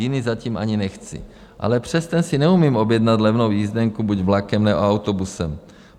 Jiný zatím ani nechci, ale přes ten si neumím objednat levnou jízdenku buď vlakem, nebo autobusem.